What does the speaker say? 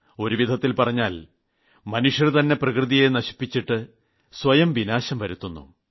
ഒരുവിധത്തിൽ പറഞ്ഞാൽ മനുഷ്യർതന്നെ പ്രകൃതിയെ നശിപ്പിച്ചിട്ട് സ്വയം വിനാശം വരുത്തിവയ്ക്കുന്നു